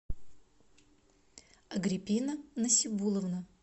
агриппина насибулловна